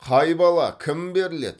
қай бала кім беріледі